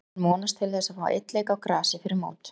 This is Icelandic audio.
Hann vonast til þess að fá einn leik á grasi fyrir mót.